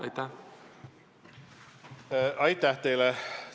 Aitäh teile!